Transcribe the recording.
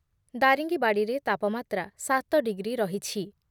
ଦାରିଙ୍ଗିବାଡ଼ିରେ ତାପମାତ୍ରା ସାତ ଡିଗ୍ରୀ ରହିଛି ।